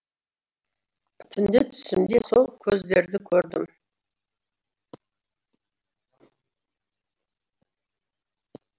түнде түсімде сол көздерді көрдім